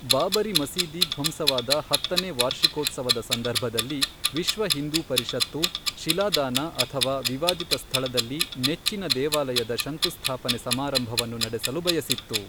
ಬಾಬರಿ ಮಸೀದಿ ಧ್ವಂಸವಾದ ಹತ್ತನೇ ವಾರ್ಷಿಕೋತ್ಸವದ ಸಂದರ್ಭದಲ್ಲಿ ವಿಶ್ವ ಹಿಂದೂ ಪರಿಷತ್ತು, ಶಿಲಾ ದಾನ ಅಥವಾ ವಿವಾದಿತ ಸ್ಥಳದಲ್ಲಿ ನೆಚ್ಚಿನ ದೇವಾಲಯದ ಶಂಕುಸ್ಥಾಪನೆ ಸಮಾರಂಭವನ್ನು ನಡೆಸಲು ಬಯಸಿತ್ತು.